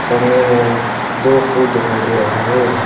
सामने में दो फूल दिखाई दे रहा है।